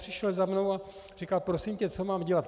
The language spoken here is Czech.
Přišel za mnou a říkal: Prosím tě, co mám dělat?